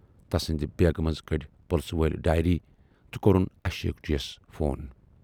تسٕندِ بیگہِ منز کٔڈۍ پُلسہٕ وٲلۍ ڈایری تہٕ کورُن اشوک جی یَس فون۔